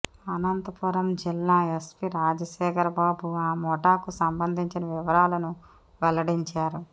అనంతపురం జిల్లా ఎస్పీ రాజశేఖర బాబు ఆ ముఠాకు సంబంధించిన వివరాలను వెల్లడించారు